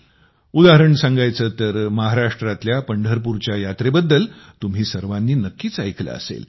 उदाहरण सांगायचे तर महाराष्ट्रातल्या पंढरपूरच्या यात्रेबद्दल तुम्ही सर्वांनी नक्कीच ऐकले असेल